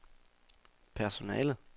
personalet